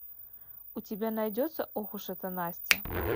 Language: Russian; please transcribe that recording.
у тебя найдется ох уж эта настя